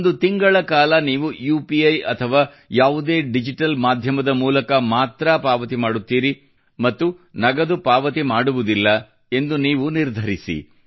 ಒಂದು ತಿಂಗಳ ಕಾಲ ನೀವು ಯುಪಿಇ ಅಥವಾ ಯಾವುದೇ ಡಿಜಿಟಲ್ ಮಾಧ್ಯಮದ ಮೂಲಕ ಮಾತ್ರ ಪಾವತಿ ಮಾಡುತ್ತೀರಿ ಮತ್ತು ನಗದು ಪಾವತಿ ಮಾಡುವುದಿಲ್ಲ ಎಂದು ನೀವು ನಿರ್ಧರಿಸಿ